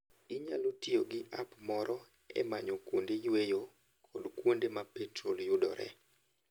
Inyalo tiyo gi app moro e manyo kuonde yueyo kod kuonde ma petrol yudoree.